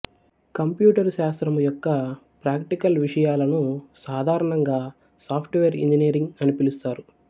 computer శాస్త్రము యొక్క practical విషయాలను సాధారణంగా సాఫ్టువేర్ ఇంజినీరింగ్ అని పిలుస్తారు